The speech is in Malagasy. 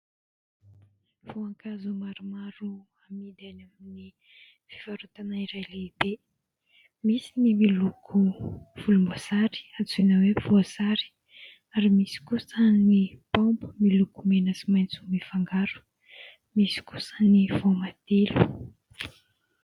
Voankazo maromaro amidy any amin'ny fivarotana iray lehibe, misy ny miloko volomboasary antsoina hoe voasary ary misy kosa ny paoma miloko mena sy maitso mifangaro, misy kosa ny voamadilo.